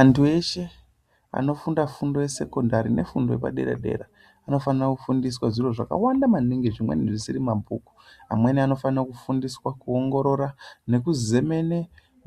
Antu eshe anofunda fundo yesekondari nefundo yepadera dera anofana kufundiswa zviro zvakawanda maningi zvimweni zvisiri mabhuku. Amweni anofane kufundiswa kuongorora nekuzemene